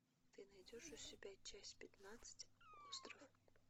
ты найдешь у себя часть пятнадцать остров